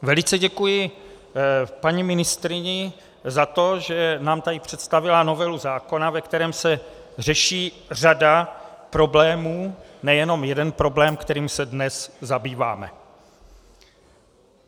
Velice děkuji paní ministryni za to, že nám tady představila novelu zákona, ve kterém se řeší řada problémů, nejenom jeden problém, kterým se dnes zabýváme.